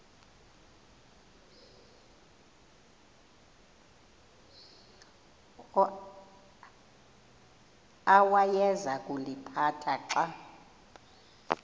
awayeza kuliphatha xa